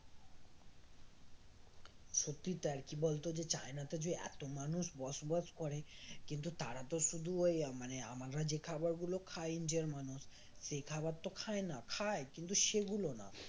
সত্যি তাই কি বলতো যে চায়নাতে যে এত মানুষ বসবাস করে কিন্তু তারা তো শুধু ওই মানে আমরা যে খাবারগুলো খাই INDIA এর মানুষ সে খাবার তো খায় না খায় কিন্তু সেগুলো না